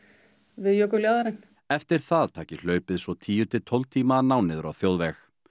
við jökuljaðarinn eftir það taki hlaupið svo tíu til tólf tíma að ná niður á þjóðveg